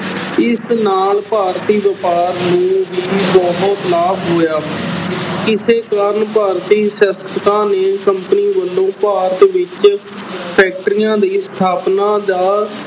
ਇਸ ਨਾਲ ਭਾਰਤੀ ਵਾਪਾਰ ਨੂੰ ਵੀ ਬਹੁਤ ਲਾਭ ਹੋਇਆ ਇਸੇ ਕਾਰਨ ਭਾਰਤੀ ਨੇ company ਵੱਲੋਂ ਭਾਰਤ ਵਿੱਚ factories ਦੀ ਸਥਾਪਨਾ ਦਾ